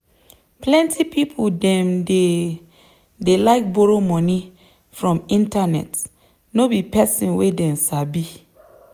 plenty people dem dey dey like borrow moni from internet no be person wey them sabi.